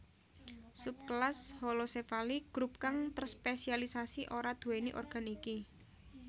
Subkelas Holocephali grup kang terspesialisasi ora duwéni organ iki